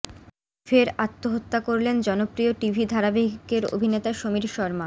ফের আত্মহত্যা করলেন জনপ্রিয় টিভি ধারাবাহিকের অভিনেতা সমীর শর্মা